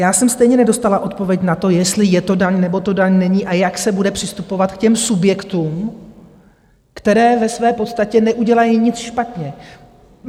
Já jsem stejně nedostala odpověď na to, jestli je to daň, nebo to daň není a jak se bude přistupovat k těm subjektům, které ve své podstatě neudělají nic špatně.